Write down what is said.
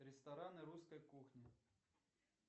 рестораны русской кухни